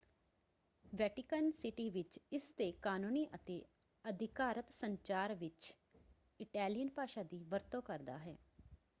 Vatican City ਵਿੱਚ ਇਸਦੇ ਕਾਨੂੰਨੀ ਅਤੇ ਅਧਿਕਾਰਤ ਸੰਚਾਰ ਵਿੱਚ ਇਟੈਲੀਅਨ ਭਾਸ਼ਾ ਦੀ ਵਰਤੋਂ ਕਰਦਾ ਹੈ।